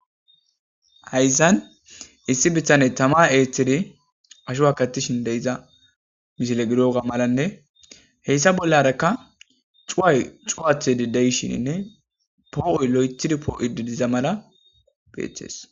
hayzan issi bittaney tama eethtiri asho wakattishin de7iza mishile gidoga malanne heyssa bollarekka cuway cuwathe dideyshininne poo7oy lo7ethidi poo7o didiza mala beeththees